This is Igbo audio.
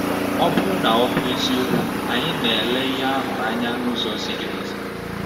Ọ bụrụ na ọ bụ eziokwu, anyị na-ele ihe ahụ anya n’ụzọ ziri ezi?